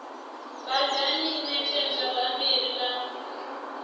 badani i ṋetshedza bammbiri ḽa